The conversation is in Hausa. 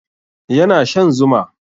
Yana shan zuma